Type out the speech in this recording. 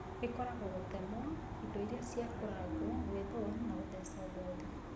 Ĩkorago gũtemwo, indo iria cia kũragwo, gwĩthũa na gũteco gothi.